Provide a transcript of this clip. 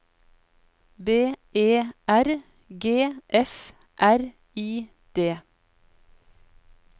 B E R G F R I D